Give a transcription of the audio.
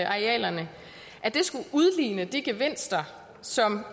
arealerne skulle udligne de gevinster som